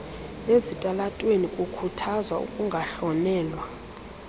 ezitalatweni kukhuthaza ukungahlonelwa